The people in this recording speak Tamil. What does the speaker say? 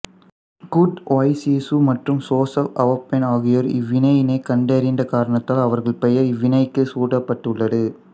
குர்டு ஒய்சிஃசு மற்றும் சோசெப் அவுபென் ஆகியோர் இவ்வினையினைக் கண்டறிந்த காரணத்தால் அவர்கள் பெயர் இவ்வினைக்குச் சூட்டப்பட்டுள்ளது